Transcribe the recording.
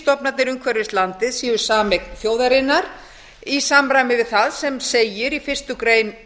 að fiskstofnarnir umhverfis landið séu sameign þjóðarinnar í samræmi við það sem segir í fyrstu grein